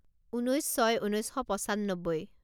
ঊনৈছ ছয় ঊনৈছ শ পঁচান্নব্বৈ